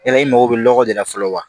Yala i mago bɛ lɔgɔ de la fɔlɔ wa